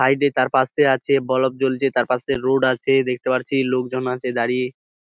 ভাইটি তার পাশ দিয়ে যাচ্ছে। বলব জ্বলছে তার পাশে রোড আছে দেখতে পারছি লোক জন আছে দাঁড়িয়ে।